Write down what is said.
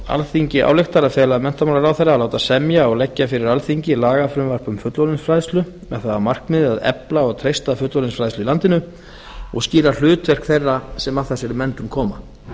alþingi ályktar að fela menntamálaráðherra að láta semja og leggja fyrir alþingi lagafrumvarp um fullorðinsfræðslu með það að markmiði að efla og treysta fullorðinsfræðslu í landinu og skýra hlutverk þeirra sem að þessari menntun koma